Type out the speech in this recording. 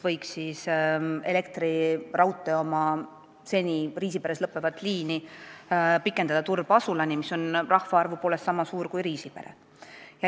Elektriraudtee võiks oma seni Riisiperes lõppevat liini pikendada Turba asulani, mis on rahvaarvu poolest sama suur kui Riisipere.